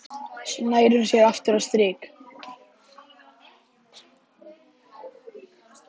Svo nær hún sér aftur á strik.